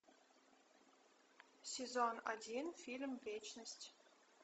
сезон один фильм вечность